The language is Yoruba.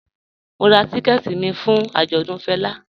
Mò n rá tìkẹ̀tì mi fún ạjọdùn Fẹla